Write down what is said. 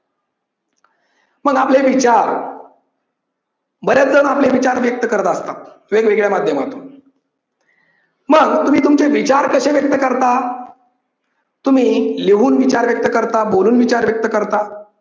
मग आपले विचार बरेच जण आपले विचार व्यक्त करत असतात. वेगवेगळ्या माध्यमातून. मग तुम्ही तुमचे विचार कसे व्यक्त करता? तुम्ही लिहून विचार व्यक्त करता, बोलून विचार व्यक्त करता.